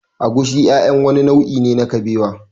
Egusi ƴaƴan wani nau'i ne na kabewa